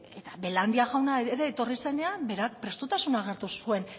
eta belandia jauna ere etorri zenean bera prestutasuna agertu zuen